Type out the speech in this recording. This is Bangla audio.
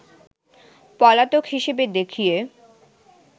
পলাতক হিসাবে দেখিয়ে